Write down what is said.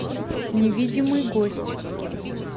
невидимый гость